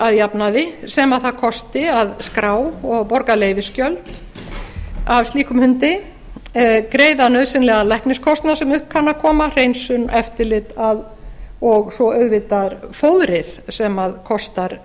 að jafnaði sem það kosti að skrá og borga leyfisgjöld af slíkum hundi greiða nauðsynlegan lækniskostnað sem upp kann að koma hreinsun eftirlit og svo auðvitað fóðrið sem kostar